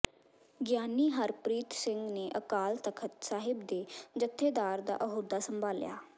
ਗਿਆਨੀ ਹਰਪ੍ਰੀਤ ਸਿੰਘ ਨੇ ਅਕਾਲ ਤਖਤ ਸਾਹਿਬ ਦੇ ਜਥੇਦਾਰ ਦਾ ਅਹੁਦਾ ਸੰਭਾਲਿਆ